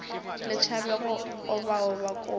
le tšhabe go obaoba kobi